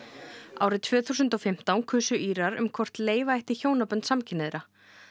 árið tvö þúsund og fimmtán kusu Írar um hvort leyfa ætti hjónabönd samkynhneigðra